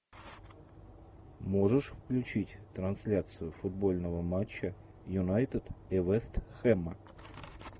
можешь включить трансляцию футбольного матча юнайтед и вест хэма